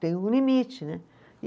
Tem um limite, né? E